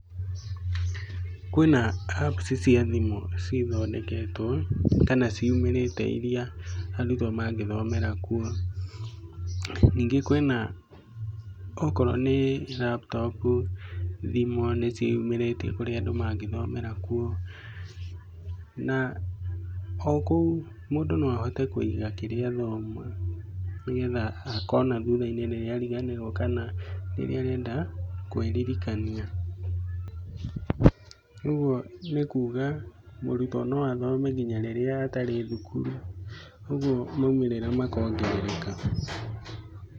Kwina Apps cia thimu cithondeketwo, kana ciumĩrĩte ĩrĩa arũtwo mangĩthomera kuo. Ningĩ kwĩna okorwo nĩ laptop , thimũ nĩ ciĩyumĩrĩtie okorwo kũrĩ andũ mangĩthomera kuo, na o kũu mũndũ no ahote kũiga kĩrĩa athoma, nĩgetha akona thutha-inĩ rĩrĩa arĩganĩrwo, kana rĩrĩa arenda kwĩrĩrĩkania. Ũguo nĩ kuuga mũrutwo no athome ngina rĩrĩa atarĩ thukuru, ũguo maũmĩrĩra makongerereka.